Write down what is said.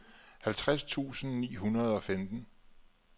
halvtreds tusind ni hundrede og femten